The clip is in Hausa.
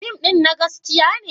Fim ɗin na gaskiya ne?